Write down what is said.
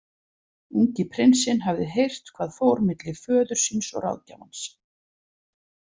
Ungi prinsinn hafði heyrt hvað fór milli föður síns og ráðgjafans.